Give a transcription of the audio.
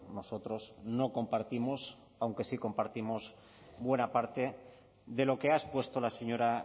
nosotros no compartimos aunque sí compartimos buena parte de lo que ha expuesto la señora